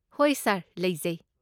ꯍꯣꯏ ꯁꯥꯔ, ꯂꯩꯖꯩ꯫